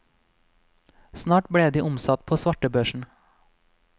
Snart ble de omsatt på svartebørsen.